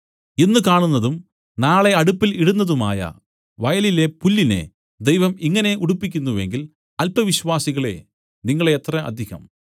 ഇന്ന് കാണുന്നതും നാളെ അടുപ്പിൽ ഇടുന്നതുമായ വയലിലെ പുല്ലിനെ ദൈവം ഇങ്ങനെ ഉടുപ്പിക്കുന്നു എങ്കിൽ അല്പവിശ്വാസികളേ നിങ്ങളെ എത്ര അധികം